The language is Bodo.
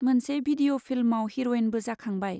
मोनसे भिडिअ' फिल्मआव हिर'इनबो जाखांबाय।